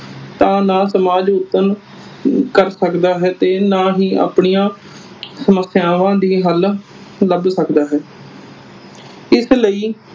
ਤਾਂ ਨਾ ਸਮਾਜ ਉਪਰ ਕਰ ਸਕਦਾ ਹੈ ਤੇ ਨਾ ਹੀ ਆਪਣੀਆਂ ਸਮੱਸਿਆਵਾਂ ਦੀ ਹਲ ਲੱਭ ਸਕਦਾ ਹੈ। ਇਸ ਲਈ